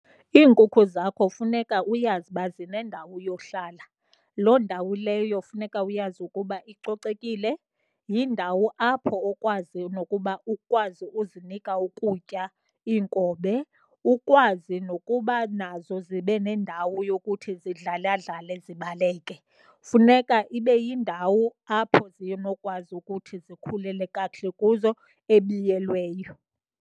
Iinkukhu zakho funeka uyazi uba zinendawo yohlala. Loo ndawo leyo funeka uyazi ukuba icocekile. Yindawo apho okwazi nokuba ukwazi uzinika ukutya, iinkobe, ukwazi nokuba nazo zibe nendawo yokuthi zidlaladlale zibaleke. Funeka ibe yindawo apho zinokwazi ukuthi zikhulele kakuhle kuzo, ebiyelweyo.